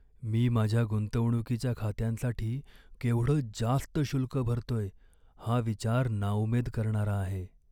मी माझ्या गुंतवणूकीच्या खात्यांसाठी केवढं जास्त शुल्क भरतोय हा विचार नाउमेद करणारा आहे.